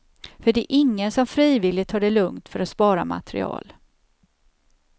För det är ingen som frivilligt tar det lugnt för att spara material.